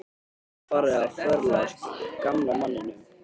Honum er farið að förlast, gamla manninum.